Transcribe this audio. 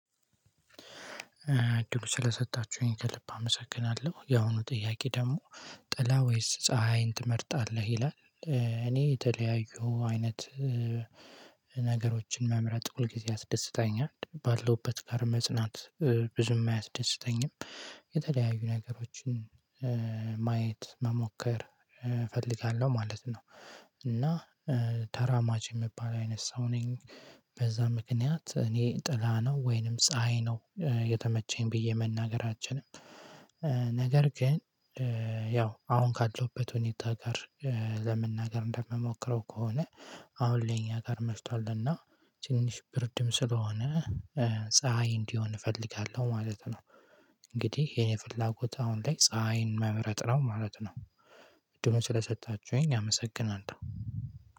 እድሉን ስለሰጣችሁኝ ከልብ አመሰግናለሁ። ያሁኑ ጥያቄ ደግሞ ጥላ ወይስ ፀሀይን ትመርጣለህ? ይላል እኔ የተለያዩ አይነት ነገሮችን መምረጥ ሁልጊዜ አስደስተኛል ባለሁበት ጋር መጽናት ብዙም አያስደስተኝም፣ የተለያዩ ነገሮችን ማየት፣ መሞከር እፈልጋለሁ ማለት ነው እና ተራማጅ የምባል አይነት ሰው ነኝ በዛ ምክንያት እኔ ጥላ ነው ወይንም ፀሀይ ነው የተመቸኝ ብዬ መናገር አልችልም። ነገር ግን ያው አሁን ካለሁበት ሁኔታ ጋር ለመናገር እንደምሞክረው ከሆነ አሁን ለኛ ጋር መሽቷልና ትንሽ ብርድም ስለሆነ ፀሀይ እንዲሆን እፈልጋለሁ ማለት ነው። እንግዲህ የኔ ፍላጎት አሁን ላይ ፀሀይን መምረጥ ነው ማለት ነው እድሉን ስለሰጣችሁኝ አመሰግናለሁ።